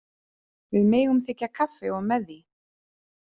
Við megum þiggja kaffi og með því.